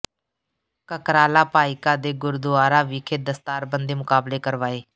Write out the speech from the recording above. ਕਕਰਾਲਾ ਭਾਈਕਾ ਦੇ ਗੁਰਦੁਆਰਾ ਵਿਖੇ ਦਸਤਾਰ ਬੰਦੀ ਮੁਕਾਬਲੇ ਕਰਵਾਏ